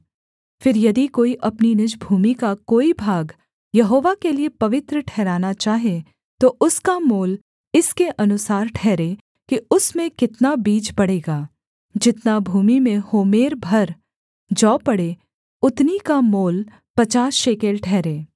फिर यदि कोई अपनी निज भूमि का कोई भाग यहोवा के लिये पवित्र ठहराना चाहे तो उसका मोल इसके अनुसार ठहरे कि उसमें कितना बीज पड़ेगा जितना भूमि में होमेर भर जौ पड़े उतनी का मोल पचास शेकेल ठहरे